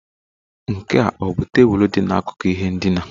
Nke a ọ bụ tebụl dị n'akụkụ ihe ndina?